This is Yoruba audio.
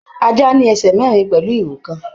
Ajá ní ẹsẹ mẹrin pẹlú ìrù kan.